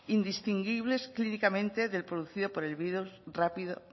indistinguibles clínicamente de la producida por el virus